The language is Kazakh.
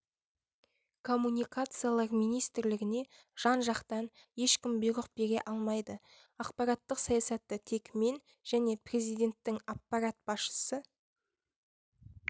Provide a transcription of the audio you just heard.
коммуникациялар министрлігіне жан-жақтан ешкім бұйрық бере алмайды ақпараттық саясатты тек мен және президенттің аппарат басшысы